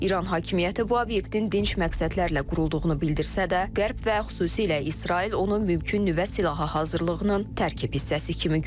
İran hakimiyyəti bu obyektin dinc məqsədlərlə qurulduğunu bildirsə də, Qərb və xüsusilə İsrail onu mümkün nüvə silahı hazırlığının tərkib hissəsi kimi görür.